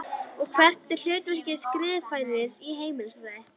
Og hvert er hlutverk skrifræðis í heimsfriði?